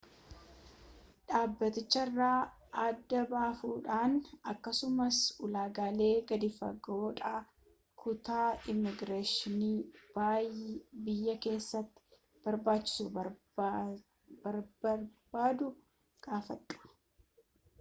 dhaabbaticharraa adda baafadhu akkasumas ulaagaalee gadi-fagoodhaaf kutaa immigireeshinii biyya keessatti barachuu barbbaadduu gaafadhu